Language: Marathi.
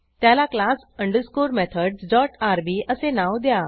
त्याला class underscore methods dot RB असे नाव द्या